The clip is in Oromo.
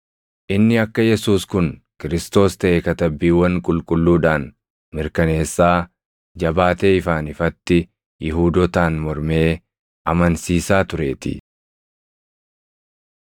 Inni akka Yesuus kun Kiristoos taʼe Katabbiiwwan Qulqulluudhaan mirkaneessaa, jabaatee ifaan ifatti Yihuudootaan mormee amansiisaa tureetii.